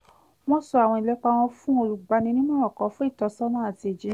wọ́n sọ àwọn ìlépa wọn fún olùgbaninímọ̀ràn kan fún ìtọ́sọ́nà àti ìjíhìn